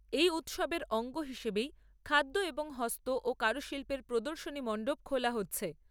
এই উৎসবের অঙ্গ হিসাবেই খাদ্য এবং হস্ত ও কারুশিল্পের প্রদর্শনী মণ্ডপ খোলা হচ্ছে।